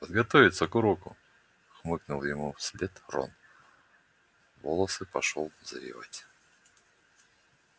подготовиться к уроку хмыкнул ему вслед рон волосы пошёл завивать